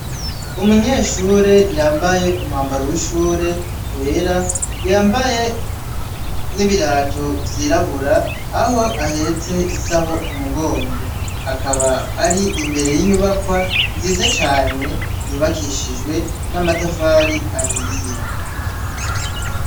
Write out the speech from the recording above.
Umunyeshure yambaye umwambaro w'ishuri wera yamabaye n'ibirato vyirabura aho ahetse isaho kumugongo akaba ar'imbere y'inyubakwa nziza cane yubakishijwe n'amatafari ahiye .